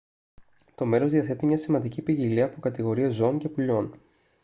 το μέρος διαθέτει μια σημαντική ποικιλία από κατηγορίες ζώων και πουλιών